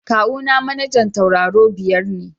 Kawuna manajan tauraru biyar ne.